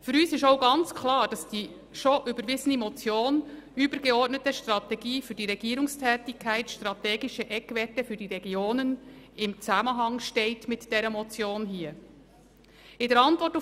Für uns ist auch klar, dass die bereits überwiesene Motion «Übergeordnete Strategie für die Regierungstätigkeit – Strategische Eckwerte für die Regionen» im Zusammenhang mit der vorliegenden Motion steht.